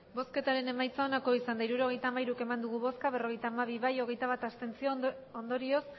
hirurogeita hamairu eman dugu bozka berrogeita hamabi bai hogeita bat abstentzio ondorioz